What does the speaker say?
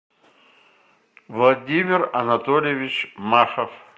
владимир анатольевич махов